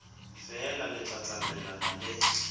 feela le tla tsamaelana le